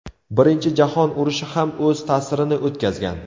Birinchi jahon urushi ham o‘z ta’sirini o‘tkazgan.